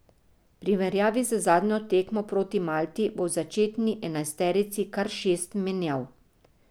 V primerjavi z zadnjo tekmo proti Malti bo v začetni enajsterici kar šest menjav.